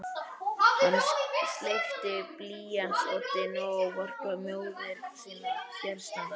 Hann sleikti blýantsoddinn og ávarpaði móðir sína fjarstadda: Elsku mamma